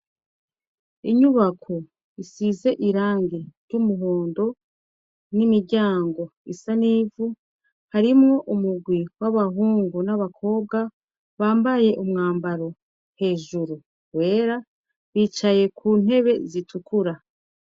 inyubako isize irangi ry'umuhondo n'imiryango isa nivu harimwo umugwi w'abahungu n'abakobwa bambaye umwambaro hejuru wera bicaye ku ntebe zitukura